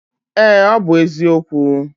Ee, ọ bụ eziokwu